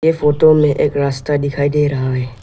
एक ऑटो में एक रास्ता दिखाई दे रहा है।